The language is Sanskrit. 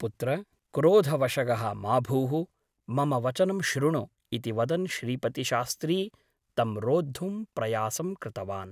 पुत्र क्रोधवशगः मा भूः । मम वचनं शृणु ' इति वदन् श्रीपतिशास्त्री तं रोद्धुं प्रयासं कृतवान् ।